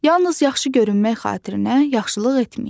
Yalnız yaxşı görünmək xatirinə yaxşılıq etməyin.